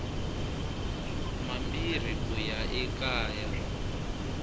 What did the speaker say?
mambirhi ku ya eka ya